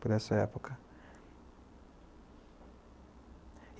por essa época.